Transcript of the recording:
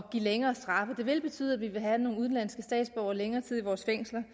give længere straffe det vil betyde at vi vil have nogle udenlandske statsborgere længere tid i vores fængsler